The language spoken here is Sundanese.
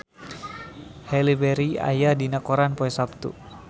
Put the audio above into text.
Halle Berry aya dina koran poe Saptu